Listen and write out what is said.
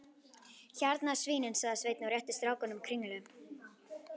Hérna svínin, sagði Sveinn og rétti strákunum kringlu.